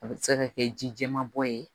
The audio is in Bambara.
A bɛ se ka kɛ ji jɛman bɔ ye